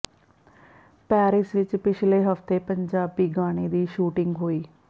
Paris ਵਿੱਚ ਪਿਛਲੇ ਹਫਤੇ ਪੰਜਾਬੀ ਗਾਣੇ ਦੀ ਸ਼ੁਟਿੰਗ ਹੋਈ